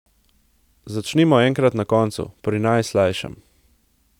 Začnimo enkrat na koncu, pri najslajšem.